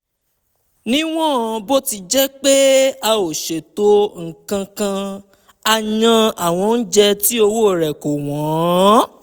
níwọ̀n bó ti jẹ́ pé a ò ṣètò nǹkan kan a yan àwọn oúnjẹ tí owó rẹ̀ kò wọ́n